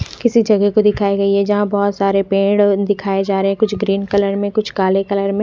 किसी जगह को दिखाई गयी है जहाँ बहुत सारे पेढ़ दिखाई जा रहे है कुछ ग्रीन कलर मे कुछ काले कलर मे।